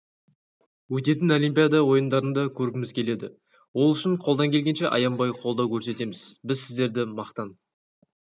өтетін олимпиада ойындарында көргіміз келеді ол үшін қолдан келгенше аянбай қолдау көрсетеміз біз сіздерді мақтан